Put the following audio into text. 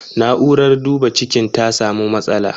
Na'urar duba cikin ta samu matsala.